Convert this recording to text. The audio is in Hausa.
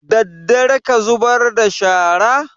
Daddare ka zubar da shara?